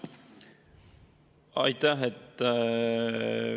Aitäh!